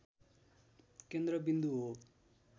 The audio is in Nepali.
केन्द्र बिन्दु हो